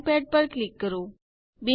drawing pad પર click કરો